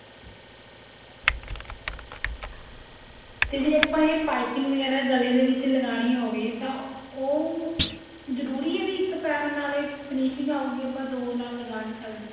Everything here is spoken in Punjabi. ਤੇ ਜਿਹੜੀ ਇਹ ਪਾਈਪਿੰਨ ਵਗੇਰਾ ਗਲੇ ਦੇ ਵਿੱਚ ਲਗਾਉਣੀ ਹੋਵੇ ਤਾਂ ਉਹ ਜਰੂਰੀ ਆ ਵੀ ਇੱਕ ਪੈਰ ਨਾਲ ਏ finishing ਆਉਗੀ ਆਪਾਂ ਦੋ ਨਾਲ ਲਗਾ ਨੀ ਸਕਦੇ